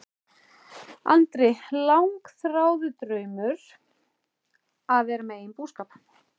Andri: Langþráður draumur að vera með eigin búskap?